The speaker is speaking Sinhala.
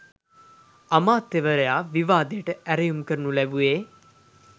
අමාත්‍යවරයා විවාදයට ඇරයුම් කරනු ලැබුවේ